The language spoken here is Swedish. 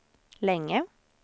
länge